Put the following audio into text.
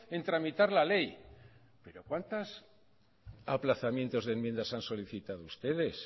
en tramitar la ley pero cuántos aplazamientos de enmiendas han solicitado ustedes